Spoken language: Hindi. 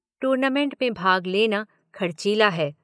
टूर्नामेंट में भाग लेना खर्चीला है।